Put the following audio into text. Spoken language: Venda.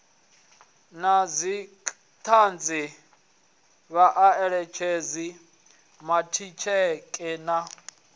na dzithanzi vhaeletshedzi vhatikedzi na